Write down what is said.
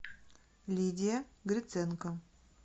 лидия гриценко